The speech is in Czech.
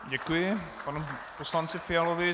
Děkuji panu poslanci Fialovi.